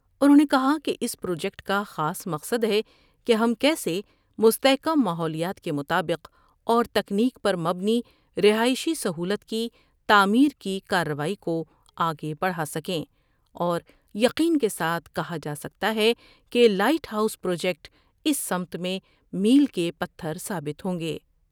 انھوں نے کہا کہ اس پروجیکٹ کا خاص مقصد ہے کہ ہم کیسے مستحکم ماحولیات کے مطابق اور تکنیک پر مبنی رہائشی سہولت کی تعمیر کی کارروائی کو آگے بڑھاسکیں اور یقین کے ساتھ کہا جا سکتا ہے کہ لائٹ ہاؤس پروجیکٹ اس سمت میں میل کے پتھر ثابت ہوں گے ۔